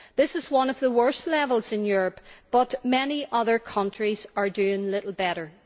This is one of the worst levels in Europe but many other countries are doing little better.